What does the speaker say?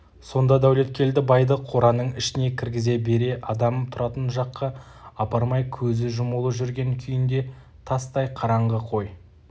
сонда дәулеткелді байды қораның ішіне кіргізе бере адам тұратын жаққа апармай көзі жұмулы жүрген күйінде тастай қараңғы қой